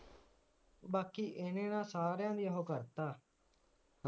ਬਾਕੀ ਇਵੇਂ ਆ ਸਾਰਿਆਂ ਦੀ ਇਹੋ ਕਰਤ ਆ